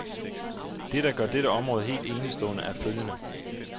Det, der gør dette område helt enestående er følgende.